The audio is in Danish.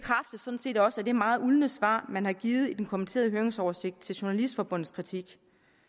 sådan set også af det meget uldne svar man har givet i den kommenterede høringsoversigt til dansk journalistforbunds kritik